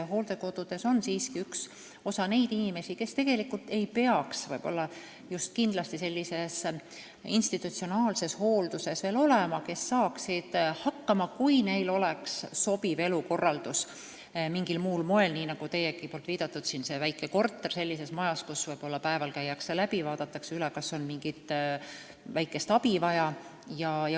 Hooldekodudes on siiski üks osa neid inimesi, kes tegelikult ei peaks kindlasti veel sellises institutsionaalses hoolduses olema, sest nad saaksid hakkama, kui neil oleks sobiv elukorraldus mingil muul moel, nii nagu teie viidatud väike korter sellises majas, kust päeval käiakse läbi ja vaadatakse üle, kas on vaja mingit väikest abi.